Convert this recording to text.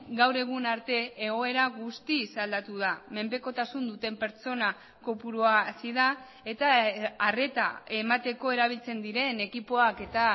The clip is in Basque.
gaur egun arte egoera guztiz aldatu da menpekotasun duten pertsona kopurua hazi da eta arreta emateko erabiltzen diren ekipoak eta